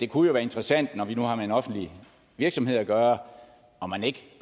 kunne være interessant når vi nu har med en offentlig virksomhed at gøre